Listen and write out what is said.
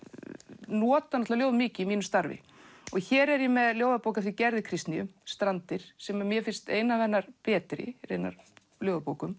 nota ljóð mikið í mínu starfi hér er ég með ljóðabók eftir Gerði Kristnýju Strandir sem mér finnst ein af hennar betri ljóðabókum